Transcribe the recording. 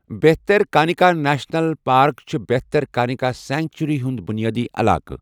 Bhitarkanika national park چھَ Bhitarkanika sanctuary ہُنٛد بُنیٲدی علاقہٕ۔